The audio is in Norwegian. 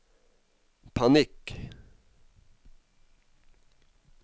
panikk